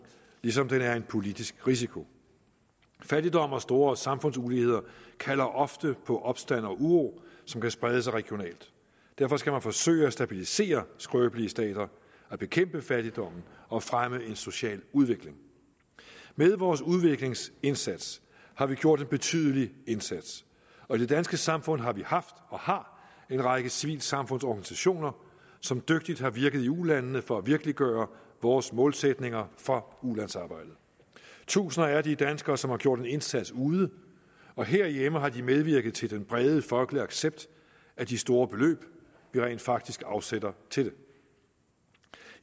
ligesom den er en politisk risiko fattigdom og store samfundsuligheder kalder ofte på opstand og uro som kan sprede sig regionalt derfor skal man forsøge at stabilisere skrøbelige stater at bekæmpe fattigdommen og fremme en social udvikling med vores udviklingsindsats har vi gjort en betydelig indsats og i det danske samfund har vi haft og har en række civilsamfundsorganisationer som dygtigt har virket i ulandene for at virkeliggøre vores målsætninger for ulandsarbejdet tusinder er de danskere som har gjort en indsats ude og herhjemme har de medvirket til den brede folkelige accept af de store beløb vi rent faktisk afsætter til det